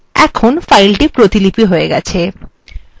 এখন file প্রতিপিলি হয়ে গেছে